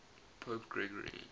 pope gregory